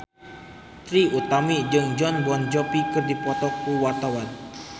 Trie Utami jeung Jon Bon Jovi keur dipoto ku wartawan